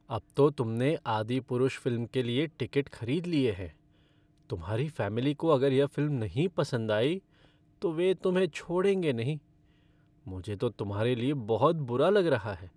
अब तो तुमने "आदिपुरुष" फ़िल्म के लिए टिकट खरीद लिए हैं, तुम्हारी फ़ैमिली को अगर यह फ़िल्म नहीं पसंद आई, तो वे तुम्हें छोड़ेंगे नहीं। मुझे तो तुम्हारे लिए बहुत बुरा लग रहा है।